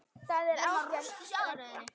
Það er ágæt regla.